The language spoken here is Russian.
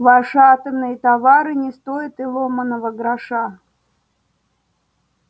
ваши атомные товары не стоят и ломаного гроша